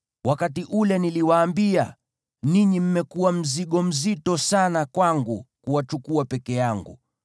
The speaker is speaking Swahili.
Wakati ule niliwaambia, “Ninyi mmekuwa mzigo mzito sana kwangu kuwachukua peke yangu.